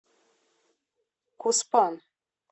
куспан